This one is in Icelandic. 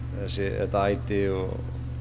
þetta æti og